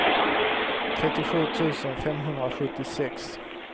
trettiosju tusen femhundrasjuttiosex